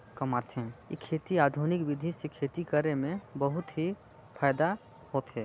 --कमाथे। इ खेती आधुनिक विधि से खेती करे मे बहुत ही फायदा होथे।